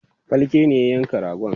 falke ne ya yanka ragon